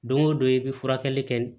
Don o don i bɛ furakɛli kɛ